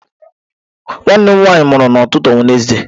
Nwanne m nwanyị mụrụ n'ụtụtụ Wenezde.